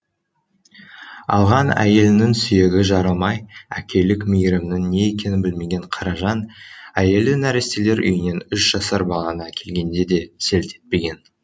алған әйелінің сүйегі жарылмай әкелік мейірімнің не екенін білмеген қаражан әйелі нәрестелер үйінен үш жасар баланы әкелгенде де селт етпеген